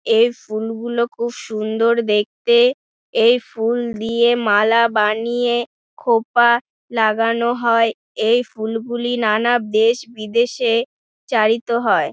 এই ফুল গুলো খুব সুন্দর দেখতে | এই ফুল দিয়ে মালা বানিয়ে খোঁপা লাগানো হয় এই ফুল গুলি নানা দেশ বিদেশে চারিত হয়।